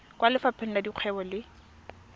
kwa lefapheng la dikgwebo le